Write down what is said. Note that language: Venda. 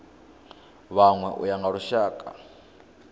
vhanwe u ya nga lushaka